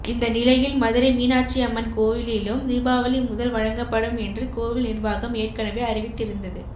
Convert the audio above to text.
இந்த நிலையில் மதுரை மீனாட்சி அம்மன் கோயிலிலும் தீபாவளி முதல் வழங்கப்படும் என்று கோவில் நிர்வாகம் ஏற்கனவே அறிவித்திருந்தது